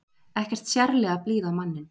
Ekkert sérlega blíð á manninn.